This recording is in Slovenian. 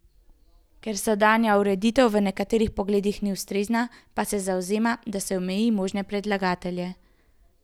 Ker sedanja ureditev v nekaterih pogledih ni ustrezna, pa se zavzema, da se omeji možne predlagatelje.